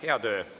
Hea töö!